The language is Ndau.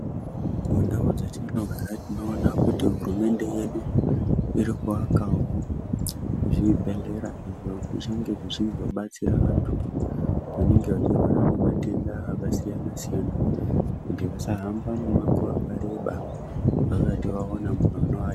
Mundau dzatinogara tinoona kuti hurumende yedu irikuakawo zvibhedhlera zvinenge zvichizobatsira antu anenge achirwara ngematenda akasiyana siyana kuti asahamba mumango asati aona munhu anoa detsera